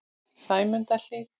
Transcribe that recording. Sæmundarhlíð